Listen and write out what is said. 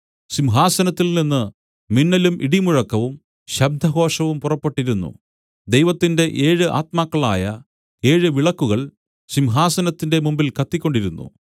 സിംഹാസനത്തിൽനിന്ന് മിന്നലും ഇടിമുഴക്കവും ശബ്ദഘോഷവും പുറപ്പെട്ടിരുന്നു ദൈവത്തിന്റെ ഏഴ് ആത്മാക്കളായ ഏഴുവിളക്കുകൾ സിംഹാസനത്തിന്റെ മുമ്പിൽ കത്തിക്കൊണ്ടിരുന്നു